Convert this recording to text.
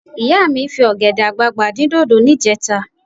Ìyá mi fi ọ̀gẹ̀dẹ̀ àgbagbà dín dòdò níjẹta